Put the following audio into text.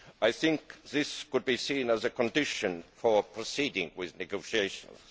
I think this could be seen as a condition for proceeding with negotiations.